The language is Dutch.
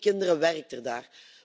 Een op twee kinderen werkt daar.